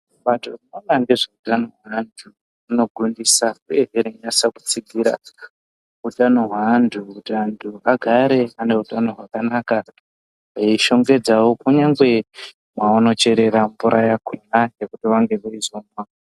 Bato rinoona ngezveutano hwevantu rinogondisa uyezve rinonyatsakutsigira hutano hwevantu kuti vantu vagare vane hwutano hwakanana eishongedzawo kunyangwe mavanocherera mvura yakhona yekuti vanenge veizomwa.